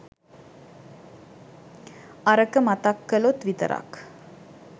අරක මතක් කලොත් විතරක්